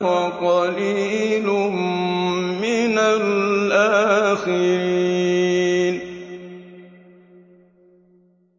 وَقَلِيلٌ مِّنَ الْآخِرِينَ